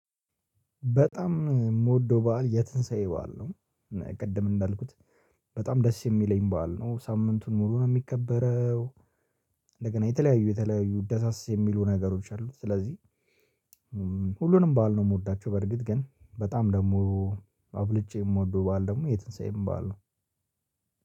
በጣም የምወደው በዓል የትንሳኤ በዓል ነው። ቅድም እንዳልኩት በጣም ደስ የሚለኝ በዓል ነው ሳምንቱን ሙሉ ነው የሚከበረው። እንደገና የተለያዩ የተለያዩ ደሳስ የሚሉ ነገሮች አሉ ስለዚህ ሁሉንም በዓል ነው የምወዳቸው። በርግጥ ግን በጣም ደግሞ አብልጬ የምወደው በዓል ደሞ የትንሳኤም ባል ነው።